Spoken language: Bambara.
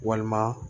Walima